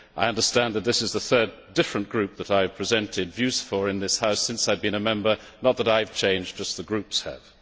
I understand that this is the third different group that I have presented views for in this House since I have been a Member not that I have changed, just the groups have.